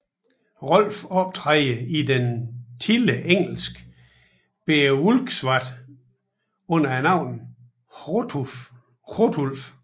Rolf optræder i det tidlige engelske Beowulfkvad under navnet Hrothulf